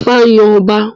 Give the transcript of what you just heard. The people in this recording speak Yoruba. Ifá yàn ọba